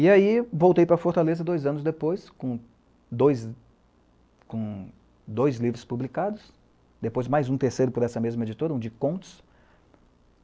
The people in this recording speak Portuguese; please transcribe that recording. E aí voltei para Fortaleza dois anos depois, com dois livros publicados, depois mais um terceiro por essa mesma editora, um de contos.